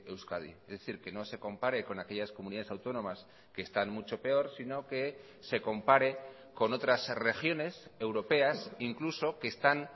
euskadi es decir que no se compare con aquellas comunidades autónomas que están mucho peor sino que se compare con otras regiones europeas incluso que están